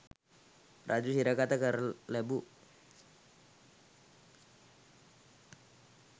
රජු සිරගත කර තැබූ